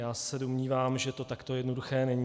Já se domnívám, že to takto jednoduché není.